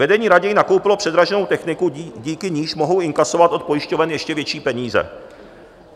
Vedení raději nakoupilo předraženou techniku, díky níž mohou inkasovat od pojišťoven ještě větší peníze.